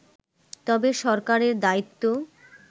তবে সরকারের দায়িত্ব